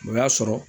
O y'a sɔrɔ